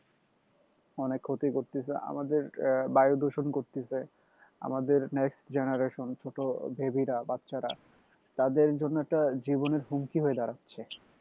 অনেক ক্ষতি করতেছে আমাদের আহ বায়ুদূষণ করতেছে আমাদের next generation ছোটো baby রা বাচ্চারা তাদের জন্য একটা জীবনের হুমকি হয়ে দাঁড়াচ্ছে